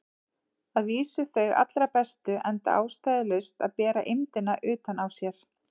Að vísu þau allra bestu, enda ástæðulaust að bera eymdina utan á sér.